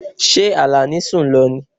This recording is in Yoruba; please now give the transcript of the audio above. Ṣé Alani sun lọ ní?